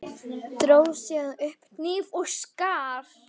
Dró síðan upp hníf og skar.